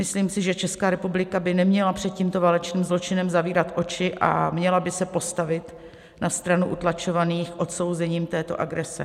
Myslím si, že Česká republika by neměla před tímto válečným zločinem zavírat oči a měla by se postavit na stranu utlačovaných odsouzením této agrese.